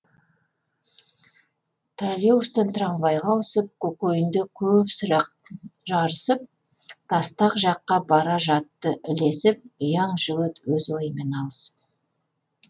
троллейбустан трамвайға ауысып көкейінде көп сұрақ жарысып тастақ жаққа бара жатты ілесіп ұяң жігіт өз ойымен алысып